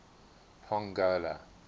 pongola